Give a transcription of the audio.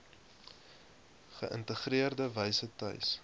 geïntegreerde wyse tuis